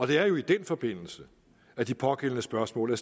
det er jo i den forbindelse at de pågældende spørgsmål er